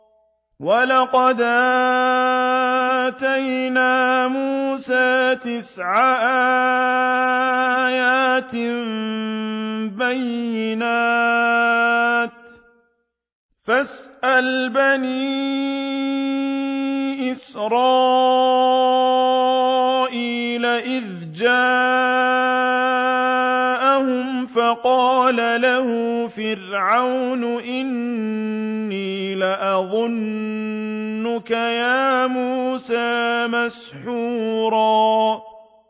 وَلَقَدْ آتَيْنَا مُوسَىٰ تِسْعَ آيَاتٍ بَيِّنَاتٍ ۖ فَاسْأَلْ بَنِي إِسْرَائِيلَ إِذْ جَاءَهُمْ فَقَالَ لَهُ فِرْعَوْنُ إِنِّي لَأَظُنُّكَ يَا مُوسَىٰ مَسْحُورًا